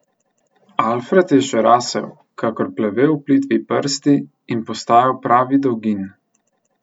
Alfred je še rasel, kakor plevel v plitvi prsti, in postajal pravi dolgin.